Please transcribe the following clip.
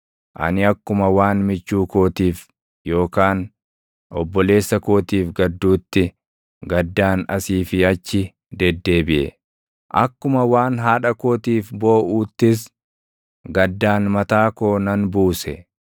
ani akkuma waan michuu kootiif yookaan obboleessa kootiif gadduutti, gaddaan asii fi achi deddeebiʼe. Akkuma waan haadha kootiif booʼuuttis, gaddaan mataa koo nan buuse.